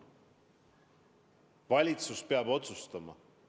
Valitsus peab otsustama.